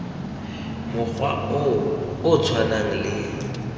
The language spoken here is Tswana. mokgwa o o tshwanang le